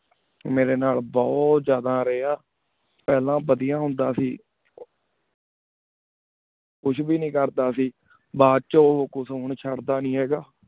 ਮੇਰੀ ਨਾਲ ਬੁਹਤ ਜਾਦਾ ਰਹਾ ਫਲਾਂ ਬਦੇਯਾ ਹੁੰਦਾ ਸੀ ਕੁਛ ਬ ਨੀ ਕਰਦਾ ਸੀ ਬਚੁਨ ਉਕੁਚ ਚੜ ਦਾ ਨੀ ਹੈ ਗਾ